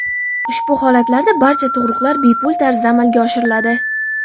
Ushbu holatlarda barcha tug‘ruqlar bepul tarzda amalga oshiriladi.